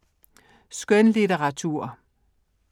Skønlitteratur